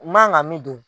N man kan ka min don